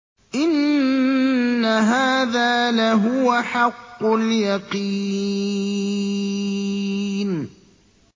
إِنَّ هَٰذَا لَهُوَ حَقُّ الْيَقِينِ